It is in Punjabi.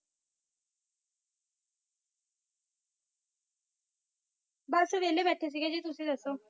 ਬਸ ਵਾਲੇ ਬਾਟੇ ਸੀ ਤੁਸੀ ਦਸੋ